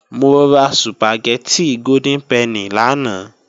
Mo ra Sùpàgẹ́tì Golden Penny lánàá